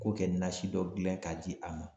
Ko kɛ nasi dɔ gilan k'a di a ma